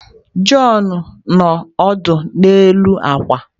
John nọ ọdụ n'elu akwa.